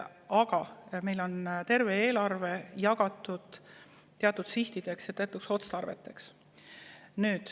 Aga meil on terve eelarve jagatud teatud sihtideks ja otstarveteks.